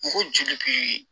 N ko joli bi